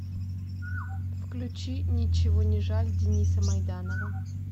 включи ничего не жаль дениса майданова